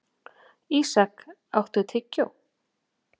Ísak, áttu tyggjó?